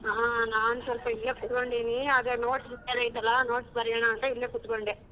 ಹಾ ನಾನ್ ಸ್ವಲ್ಪ ಇಲ್ಲೇ ಕೂತ್ಕೊಂಡಿನಿ ಅದೇ notes ಬೇರೆ ಐಯ್ತಲ್ಲ notes ಬರಿಯೋಣ ಅಂತ ಇಲ್ಲೇ ಕುತ್ಕೊಂಡೇ.